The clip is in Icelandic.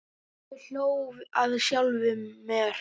Ég hló að sjálfum mér.